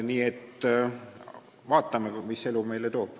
Nii et vaatame, mis elu meile toob.